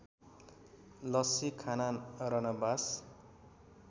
लस्‍सी खाना रनबास